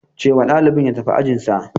Ce wa ɗalibin ya tafi ajinsa.